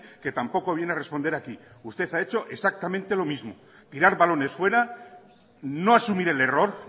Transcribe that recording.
que tampoco viene a responder aquí usted ha hecho exactamente lo mismo tirar balones fuera no asumir el error